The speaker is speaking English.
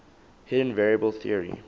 hidden variable theory